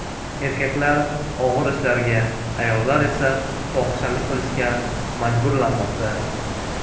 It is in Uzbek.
Erkaklar og‘ir ishlarga, ayollar esa fohishalik qilishga majburlanmoqda.